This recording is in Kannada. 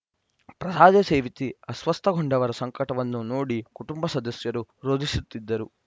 ಪ್ರಸಾದ ಸೇವಿಸಿ ಅಸ್ವಸ್ಥಗೊಂಡವರ ಸಂಕಟವನ್ನು ನೋಡಿ ಕುಟುಂಬ ಸದಸ್ಯರೂ ರೋಧಿಸುತ್ತಿದ್ದರು